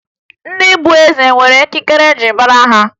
Ndị be eze nwere ekike e ji mara ha